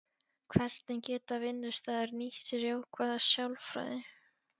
Hvernig geta vinnustaðir nýtt sér jákvæða sálfræði?